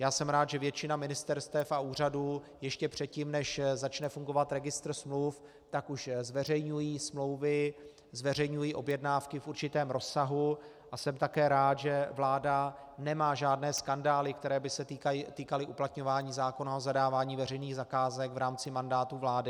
Já jsem rád, že většina ministerstev a úřadů ještě předtím, než začne fungovat registr smluv, tak už zveřejňují smlouvy, zveřejňují objednávky v určitém rozsahu, a jsem také rád, že vláda nemá žádné skandály, které by se týkaly uplatňování zákona o zadávání veřejných zakázek v rámci mandátu vlády.